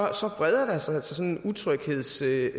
altså breder sig sådan en utryghedstemning